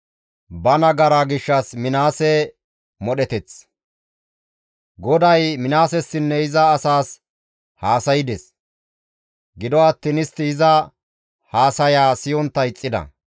GODAY Minaasessinne iza asaas haasaydes; gido attiin istti iza haasayaa siyontta ixxida.